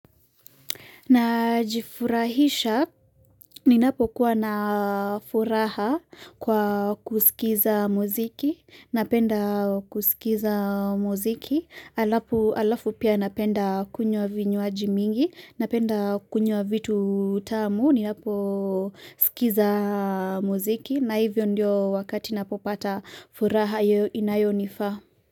Na jifurahisha, ninapo kuwa na furaha kwa kusikiza muziki, napenda kusikiza muziki, alafu pia napenda kunywa vinywaji mingi, napenda kunywa vitu vitamu, ninapo sikiza muziki, na hivyo ndio wakati napopata furaha inayonifa.